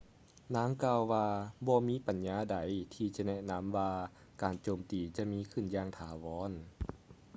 ນາງກ່າວວ່າ ບໍ່ມີປັນຍາໃດທີ່ຈະແນະນຳວ່າການໂຈມຕີຈະມີຂຶ້ນຢ່າງຖາວອນ